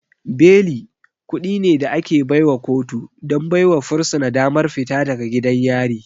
Beli kuɗi ne da ake baiwa kotu don baiwa fursuna damar fita daga gidan yari.